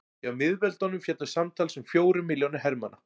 hjá miðveldunum féllu samtals um fjórir milljónir hermanna